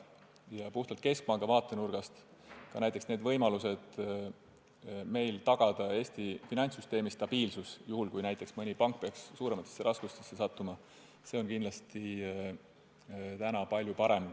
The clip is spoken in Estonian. Ja puhtalt keskpanga vaatenurgast on võimalus tagada Eesti finantssüsteemi stabiilsus, juhul kui mõni pank peaks suurematesse raskustesse sattuma, kindlasti praegu palju parem.